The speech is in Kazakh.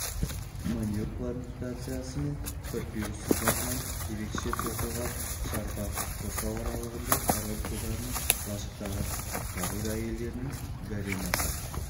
маниок плантациясы мен папирус сабағынан ерекше тоқылған шарбақ қоршау аралығында король құлдарының лашықтары король әйелдерінің гаремасы